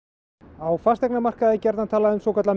á fasteignamarkaði er gjarnan talað um svokallað